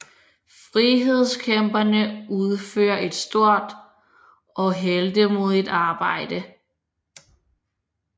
Frihedskæmperne udfører et stort og heltemodigt arbejde